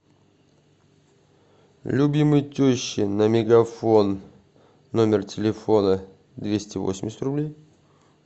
любимой теще на мегафон номер телефона двести восемьдесят рублей